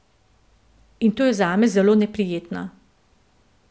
In to je zame zelo neprijetno.